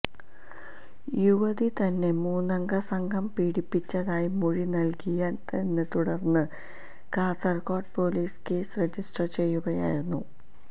യുവതി തന്നെ മൂന്നംഗ സംഘം പീഡിപ്പിച്ചതായി മൊഴി നല്കിയതിനെത്തുടര്ന്ന് കാസര്കോട് പൊലീസ് കേസ് രജിസ്റ്റര് ചെയ്യുകയായിരുന്നു